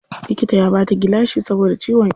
Likita ya bata gilashi saboda ciwon ido.